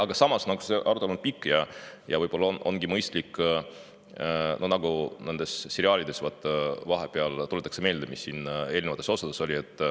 Aga samas, see arutelu on pikk ja võib-olla ongi mõistlik samamoodi, nagu seriaalides tehakse, vahepeal tuletada meelde, mis eelnevates osades oli.